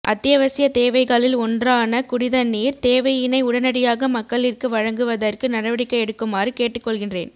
அத்தியவசிய தேவைகளில் ஒன்றான குடிதணீர் தேவையினை உடனடியாக மக்களிற்கு வழங்குவதற்கு நடவடிக்கை எடுக்குமாறு கேட்டுகொள்கின்றேன்